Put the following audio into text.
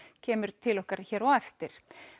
kemur til okkar hér á eftir